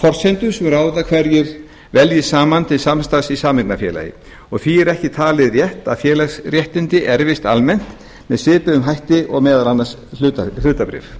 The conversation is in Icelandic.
forsendur sem ráða hverjir veljast saman til samstarfs í sameignarfélagi og því er ekki talið rétt að félagsréttindi erfist almennt með svipuðum hætti og meðal annars hlutabréf